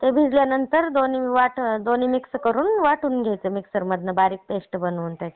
आणि ते भिजल्यानंतर दोन्ही मिक्स करून वाटून घ्यायचे मिक्सरमधून बारीक पेस्ट बनवून त्याची.